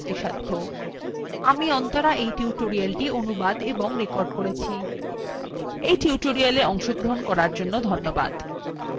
আমি অন্তরা এই tutorialthe অনুবাদ এবং রেকর্ড করেছি এই tutorialএ অংশগ্রহন করার জন্য ধন্যবাদ